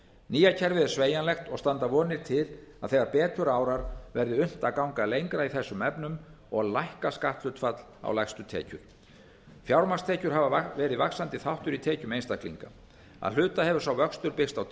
nýja kerfið er sveigjanlegt og standa vonir til að þegar betur árar verði unnt að ganga lengra í þessum efnum og lækka skatthlutfall á lægstu tekjur fjármagnstekjur hafa verið vaxandi þáttur í tekjum einstaklinga að hluta hefur sá vöxtur byggst á